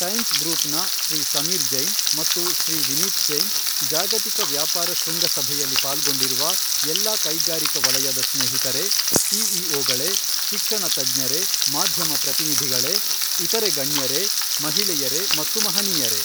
Times Group ನ ಶ್ರೀ ಸಮೀರ್ ಜೈನ್ ಮತ್ತು ಶ್ರೀ ವಿನೀತ್ ಜೈನ್, ಜಾಗತಿಕ ವ್ಯಾಪಾರ ಶೃಂಗಶಭೆಯಲ್ಲಿ ಪಾಲ್ಗೊಂಡಿರುವ ಎಲ್ಲಾ ಕೈಗಾರಿಕಾ ವಲಯದ ಸ್ನೇಹಿತರೇ, ಸಿಇಒಗಳೇ, ಶಿಕ್ಷಣ ತಜ್ಞರೇ, ಮಾಧ್ಯಮ ಪ್ರತಿನಿಧಿಗಳೇ, ಇತರೆ ಗಣ್ಯರೇ, ಮಹಿಳೆಯರೇ ಮತ್ತು ಮಹನೀಯರೇ!